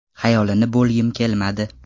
Xayolini bo‘lgim kelmadi.